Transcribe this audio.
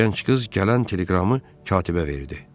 Gənc qız gələn teleqramı katibə verdi.